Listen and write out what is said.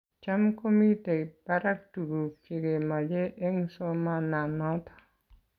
Cham komiten barak tuguk chegemache eng somana noto